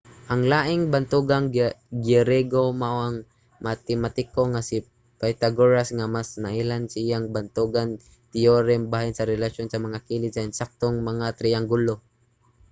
ang laing bantugang griyego mao ang matematiko nga si pythagoras nga mas nailhan sa iyang bantugan teyorem bahin sa relasyon sa mga kilid sa ensaktong mga triyanggulo